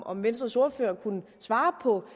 om venstres ordfører kunne svare på